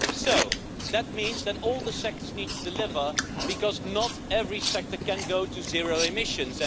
So that means that all the sectors need to deliver because not every sector can go to zero emissions.